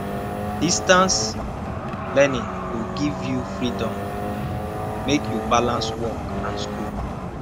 distance um learning go give you freedom um make you balance work and school